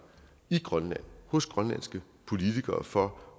i grønland hos grønlandske politikere for